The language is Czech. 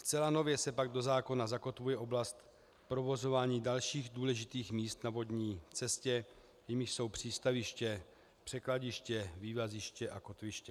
Zcela nově se pak do zákona zakotvuje oblast provozování dalších důležitých míst na vodní cestě, jimiž jsou přístaviště, překladiště, vývaziště a kotviště.